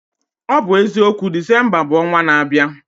Ọ bụ eziokwu, Disemba bụ ọnwa n'abịa